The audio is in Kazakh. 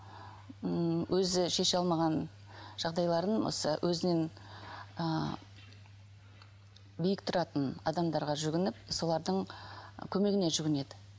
ммм өзі шеше алмаған жағдайларын осы өзінен ыыы биік тұратын адамдарға жүгініп солардың көмегіне жүгінеді